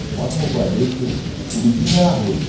Olha como eu guardei, porque o biquíni era roxo.